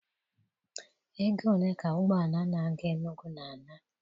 Ego ole ka ụgbọ ala na-aga Enugu na-ana?